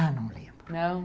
Ah, não lembro. Não?